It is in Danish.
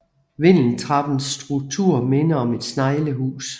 Vindeltrappens struktur minder om et sneglehus